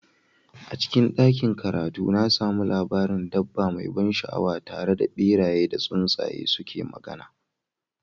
A cikin ɗakin karatu, na sami labarin dabba mai ban sha'awa tare da beraye da tsuntsaye suke magana.